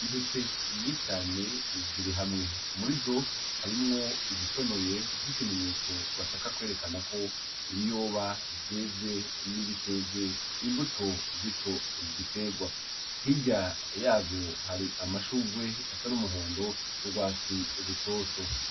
Intete inyiscane ziri hamwe umurizo harimwo izitonoye nk'ikimenyetso bashaka kwerekana ko ibiyoba vyeze n'ibiteze imbuto zico giterwa hirya yavyo hari amashurgwe asa n'umuhondo n'urwatsi rutoto.